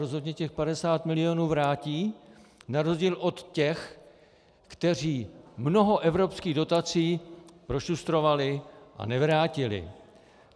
Rozhodně těch 50 milionů vrátí na rozdíl od těch, kteří mnoho evropských dotací prošustrovali a nevrátili.